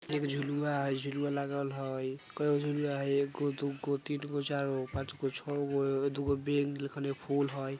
एक झुलवा हई झुलवा लगल हई कईयो झुलवा हई एगो दुगो तीनगो चारगो पांचगो छहगो दुगो फूल हई।